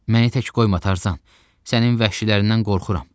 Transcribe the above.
Məni tək qoyma Tarzan, sənin vəhşilərindən qorxuram.